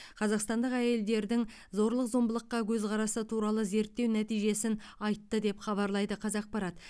қазақстандық әйелдердің зорлық зомбылыққа көзқарасы туралы зерттеу нәтижесін айтты деп хабарлайды қазақпарат